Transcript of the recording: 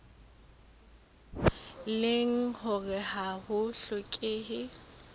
leng hore ha ho hlokehe